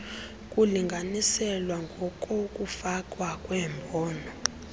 kulinganiselwa ngokokufakwa kwembono